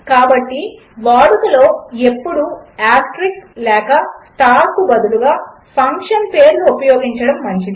కాబట్టి వాడుకలో ఎప్పుడు ఆస్టెరిస్క్ లేక స్టార్ లకు బదులుగా ఫంక్షన్ పేర్లు ఉపయోగించడము మంచిది